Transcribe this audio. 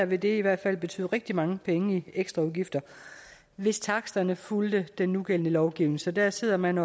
vil det i hvert fald betyde rigtig mange penge i ekstraudgifter hvis taksterne fulgte den nugældende lovgivning så der sidder man